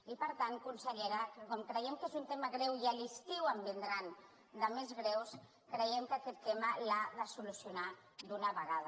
i per tant consellera com creiem que és un tema greu i a l’estiu en vindran de més greus creiem que aquest tema l’ha de solucionar d’una vegada